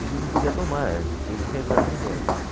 A gente não podia tomar, eh, tinha que rezar primeiro.